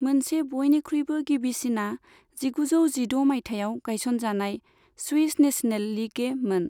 मोनसे बयनिख्रुयबो गिबिसिना जिगुजौ जिद' मायथाइयाव गायसनजानाय स्विस नेशनल लीग ए मोन।